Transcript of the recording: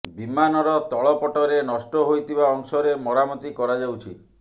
ବିମାନର ତଳ ପଟରେ ନଷ୍ଟ ହୋଇଥିବା ଅଂଶରେ ମରାମତି କରାଯାଉଛି